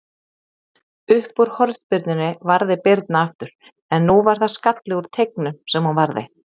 Uppúr hornspyrnunni varði Birna aftur, en nú var það skalli úr teignum sem hún varði.